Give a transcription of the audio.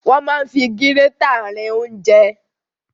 Wọ́n máa ń fi gírétà rin ounjẹ.